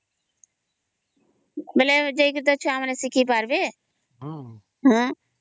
ବୋଲେ ଯାଇ କରି ତା ଛୁଆ ମାନେ ସିକିପରିବେ ହଁ